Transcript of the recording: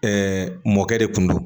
Ɛɛ mɔkɛ de kun do